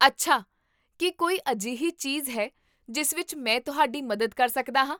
ਅੱਛਾ, ਕੀ ਕੋਈ ਅਜਿਹੀ ਚੀਜ਼ਹੈ ਜਿਸ ਵਿੱਚ ਮੈਂ ਤੁਹਾਡੀ ਮਦਦ ਕਰ ਸਕਦਾ ਹਾਂ?